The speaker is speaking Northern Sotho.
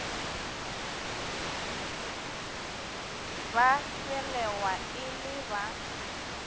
ba belegwa e le ba